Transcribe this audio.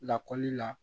Lakɔli la